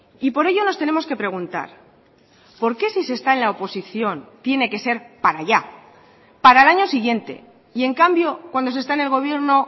y por ello nos tenemos que preguntar por qué si se está en la oposición tiene que ser para ya para el año siguiente y en cambio cuando se está en el gobierno